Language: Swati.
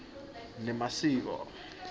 nemasiko